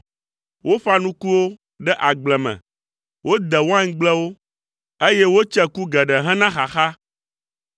Woƒã nukuwo ɖe agble me, wode waingblewo, eye wotse ku geɖe hena xaxa.